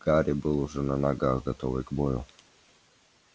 гарри был уже на ногах готовый к бою